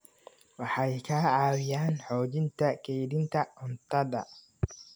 Waxay ka caawiyaan xoojinta kaydinta cuntada.